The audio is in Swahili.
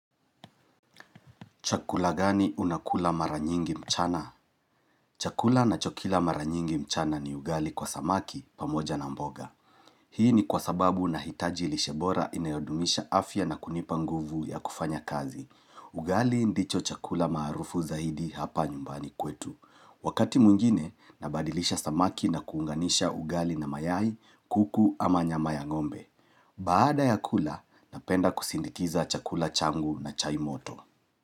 Chakula gani unakula mara nyingi mchana? Chakula ninachokila mara nyingi mchana ni ugali kwa samaki pamoja na mboga. Hii ni kwa sababu ninahitaji lishe bora inayodumisha afya na kunipa nguvu ya kufanya kazi. Ugali ndicho chakula maarufu zaidi hapa nyumbani kwetu. Wakati mwingine, nabadilisha samaki na kuunganisha ugali na mayai, kuku ama nyama ya ng'ombe. Baada ya kula, napenda kusindikiza chakula changu na chai moto.